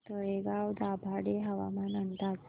तळेगाव दाभाडे हवामान अंदाज